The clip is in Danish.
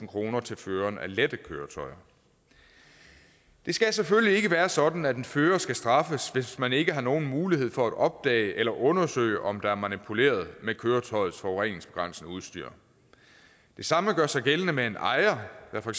kroner til føreren af lette køretøjer det skal selvfølgelig ikke være sådan at en fører skal straffes hvis man ikke har nogen mulighed for at opdage eller undersøge om der er manipuleret med køretøjets forureningsbegrænsende udstyr det samme gør sig gældende med en ejer der for